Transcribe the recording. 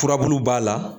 Furabulu b'a la